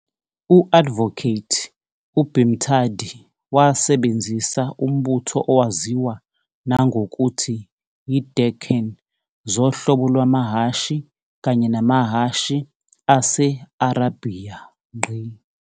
U-Advocate u-Bhimthadi wasebenzisa umbutho owaziwa nangokuthi yi-Deccan zohlobo lwamahhashi kanye namahhashi ase-Arabhiya.